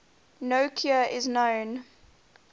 no cure is known